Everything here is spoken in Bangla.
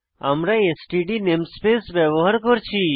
আমরা এসটিডি নেমস্পেস ব্যবহার করছি